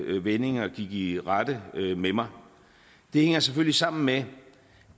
vendinger gik i rette med mig det hænger selvfølgelig sammen med